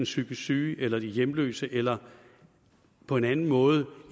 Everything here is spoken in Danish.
psykisk syge eller de er hjemløse eller på en anden måde